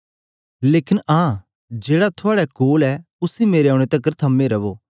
लेकन आं जेहड़ा थआड़े कोल ऐ उसी मेरे औने तकर थमे रवो